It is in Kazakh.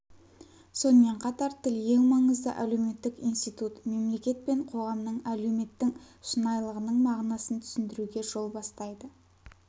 сонымен қатар тіл ең маңызды әлеуметтік институт мемлекет пен қоғамның әлеуметтің шынайлылығының мағынасын түсіндіруге жол бастайды